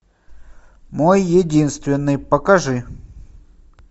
мой единственный покажи